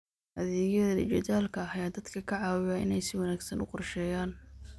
Adeegyada dijitaalka ah ayaa dadka ka caawiya inay si wanaagsan u qorsheeyaan.